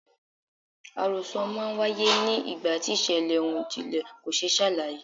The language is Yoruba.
Àròsọ máa ń w'áyé ni ìgbà tí ìṣẹ̀lẹ̀ ohun ìjìnlẹ̀ kò ṣe é ṣàlàyé.